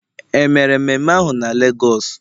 e mere mmeme ahu na Lagos?